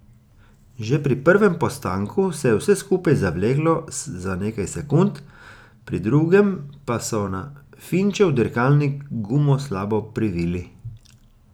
Že pri prvem postanku se je vse skupaj zavleklo za nekaj sekund, pri drugem pa so na Finčev dirkalnik gumo slabo privili.